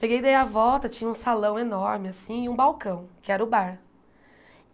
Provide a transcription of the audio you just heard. Peguei e dei a volta, tinha um salão enorme assim e um balcão, que era o bar.